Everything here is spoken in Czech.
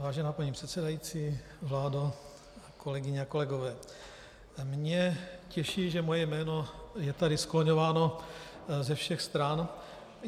Vážená paní předsedající, vládo, kolegyně a kolegové, mě těší, že moje jméno je tady skloňováno ze všech stran.